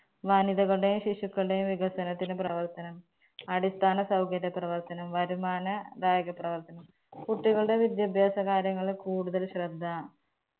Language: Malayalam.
വനിതകളുടെയും ശിശുക്കളുടെയും വികസനത്തിന് പ്രവർത്തനം, അടിസ്ഥാന സൗകര്യ പ്രവർത്തനം, വരുമാന bag പ്രവർത്തനം, കുട്ടികളുടെ വിദ്യാഭ്യാസ കാര്യങ്ങളില് കൂടുതൽ ശ്രദ്ധ